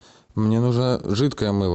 мне нужно жидкое мыло